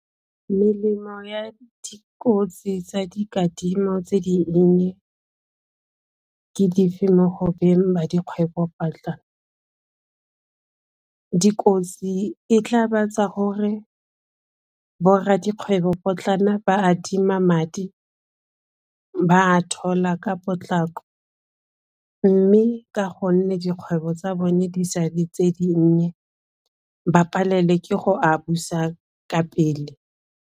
Melemo ya dikotsi tsa dikadimo tse dinnye ke dife mo go beng ba dikgwebopotlana. Dikotsi e tla ba gobatsa gore bo rra dikgwebopotlana ba adima madi ba a thola ka potlako mme ka gonne dikgwebo tsa bone di sa le tse dinnye ba palelwe ke go a busa ka pele.